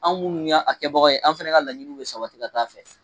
Anw munnu y'a kɛbagaw ye, an fɛnɛ ka laɲiniw bi sabati ka taa fɛ